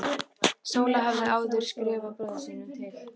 Sóla hafði áður skrifað bróður sínum til